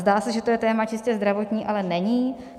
Zdá se, že to je téma čistě zdravotní, ale není.